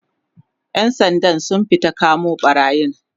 ƴan Sandan sun fita kamo ɓarayin